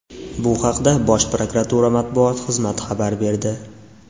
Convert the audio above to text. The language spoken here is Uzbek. Bu haqda Bosh prokuratura matbuot xizmati xabar berdi .